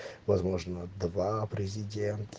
возможно два президент